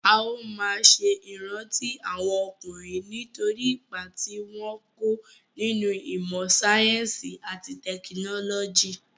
A ó máa ṣe ìrántí àwọn ọkùnrin nítorí ipa tí wọ́n kó nínú ìmọ sáyẹ́nsì àti tẹkinọ́lọ́jì.